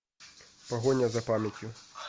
погоня за памятью